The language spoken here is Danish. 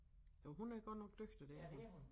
Jo hun er godt nok dygtig det er hun